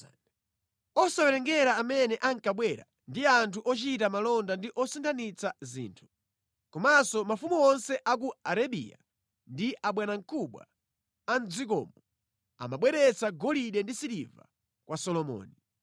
osawerengera amene ankabwera ndi anthu ochita malonda ndi osinthanitsa zinthu. Komanso mafumu onse a ku Arabiya ndi abwanamkubwa a mʼdzikomo amabweretsa golide ndi siliva kwa Solomoni.